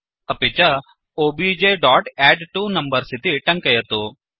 अपि च objएडट्वोनम्बर्स इति टङ्कयतु